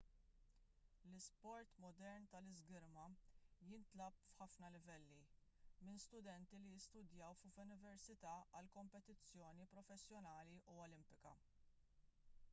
l-isport modern tal-iżgirma jintlagħab f'ħafna livelli minn studenti li jistudjaw f'università għal kompetizzjoni professjonali u olimpika